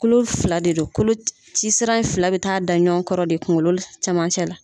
Kolo fila de don, kolocisira in fila bɛ taa da ɲɔgɔn kɔrɔ de kunkolo camancɛ la.